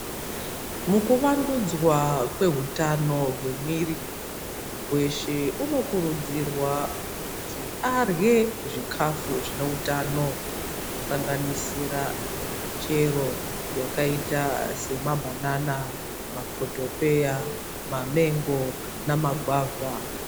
Mukuvandudzwa kwehutano gwemwiri, muntu weshe unokurudzirwa kuti adlye zvikafu zvinohutano. Zvinosanganisira michero yakaita sema bbanana, makotopeya, mamengo namagwava.